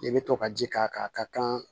I bɛ to ka ji k'a kan a ka kan